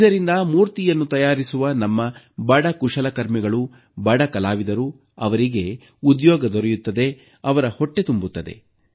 ಇದರಿಂದ ಮೂರ್ತಿಯನ್ನು ತಯಾರಿಸುವ ನಮ್ಮ ಬಡ ಕುಶಲಕರ್ಮಿಗಳು ಬಡ ಕಲಾವಿದರಿಗೆ ಉದ್ಯೋಗ ದೊರೆಯುತ್ತದೆ ಅವರ ಹೊಟ್ಟೆ ತುಂಬುತ್ತದೆ